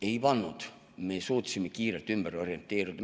Ei pannud, me suutsime kiirelt ümber orienteeruda.